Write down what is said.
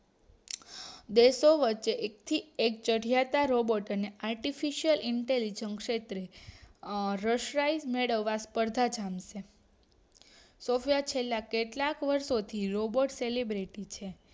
દેશો વચ્ચે એક થી એક ચડિયાતા રોબોટ અને artificialinterligent ક્ષેત્રે રશિયાઈ મેળવવા સ્પર્ધા જામશે સૉફયા છેલ્લા કેટલાક વર્ષો થી રોબોર્ટ selibrity છે